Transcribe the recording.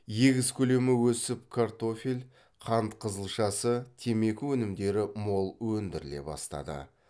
егіс көлемі өсіп картофель қант қызылшасы темекі өнімдері мол өндіріле бастады